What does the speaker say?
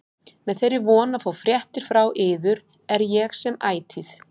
Með þeirri von að fá fréttir frá yður er ég sem ætíð